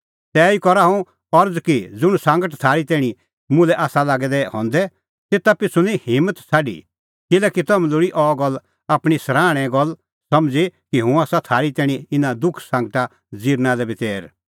तैही करा हुंह अरज़ कि ज़ुंण सांगट थारी तैणीं मुल्है आसा लागै दै हंदै तेता पिछ़ू निं हिम्मत छ़ाडी किल्हैकि तम्हैं लोल़ी अह गल्ल आपणीं सराहणे गल्ल समझ़ी कि हुंह आसा थारी तैणीं इना दुख सांगटा ज़िरना लै बी तैर